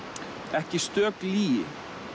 ekki stök lygi